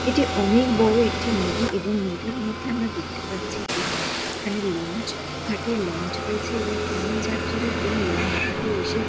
এটি অনেক বড়ো একটি নদী এবং নদীর মধ্যে আমরা দেখতে পাচ্ছি যে এখানে লঞ্চ। ঘাটে লঞ্চ রয়েছে এবং অনেক যাত্রীরা এই লঞ্চ ঘাটে এসে-